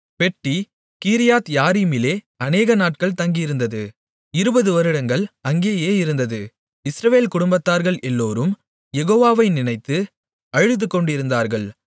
பெட்டி கீரியாத்யாரீமிலே அநேக நாட்கள் தங்கியிருந்தது 20 வருடங்கள் அங்கேயே இருந்தது இஸ்ரவேல் குடும்பத்தார்கள் எல்லோரும் யெகோவா வை நினைத்து அழுதுகொண்டிருந்தார்கள்